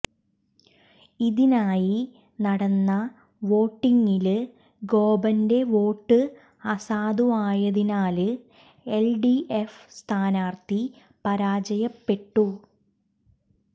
ഇതിനായി നടന്ന വോട്ടിംഗില് ഗോപന്റെ വോട്ട് അസാധുവായതിനാല് എല്ഡിഎഫ് സ്ഥാനാര്ത്ഥി പരാജയപ്പെട്ടു